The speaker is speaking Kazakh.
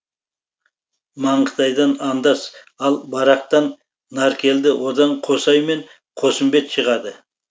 маңғытайдан андас ал барақтан наркелді одан қосай мен қосымбет шығады